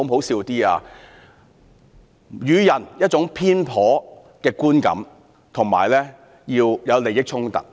要予人一種偏頗的觀感，以及要有利益衝突。